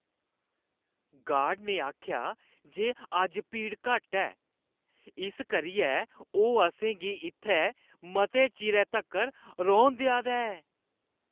Guard ने आखेआ जे अज्ज भीड़ घट्ट ऐ। इस करियै ओह् असें गी इत्थै मते चिरै तक्कर रौह्‌न देआ दा ऐ।